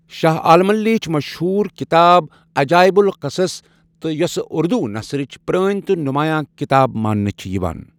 شاہ عالمن لیٖچھ مشہور کتاب عجایب القصص تہِ یوسہٕ اُردوُ نثرٕچ پرٛٲنۍ تہٕ نُمایاں كِتاب ماننہٕ چھِ یوان